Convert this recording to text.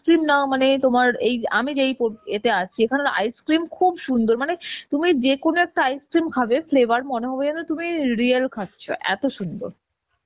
cream না মানে তোমার এই আমি যেই এ তে আছি, এখানের ice cream খুব সুন্দর মানে তুমি যেকোনো একটা ice cream খাবে, flavour মনে হবে যেন তুমি রিয়েল খাচ্ছ, এত সুন্দর